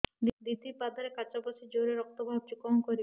ଦିଦି ପାଦରେ କାଚ ପଶି ଜୋରରେ ରକ୍ତ ବାହାରୁଛି କଣ କରିଵି